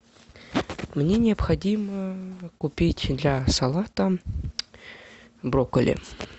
мне необходимо купить для салата брокколи